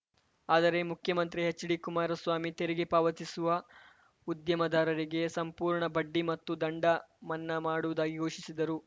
ಆದರೆ ಮುಖ್ಯಮಂತ್ರಿ ಎಚ್‌ಡಿಕುಮಾರಸ್ವಾಮಿ ತೆರಿಗೆ ಪಾವತಿಸುವ ಉದ್ಯಮದಾರರಿಗೆ ಸಂಪೂರ್ಣ ಬಡ್ಡಿ ಮತ್ತು ದಂಡ ಮನ್ನಾ ಮಾಡುವುದಾಗಿ ಘೋಷಿಸಿದರು